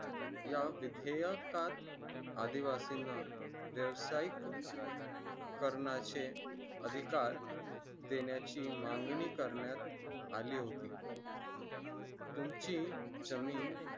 या विधेयकास आदिवासींना व्यावसायिक करण्याचे अधिकार देण्याची मागणी करण्यात आली होती तुमची जमीन